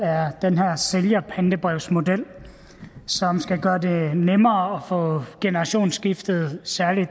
er den her sælgerpantebrevsmodel som skal gøre det nemmere at få generationsskifte særlig i